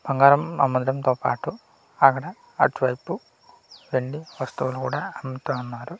బంగారం అమ్మడంతో పాటు అక్కడ అటువైపు వెండి వస్తువును కూడా అమ్ముతన్నారు.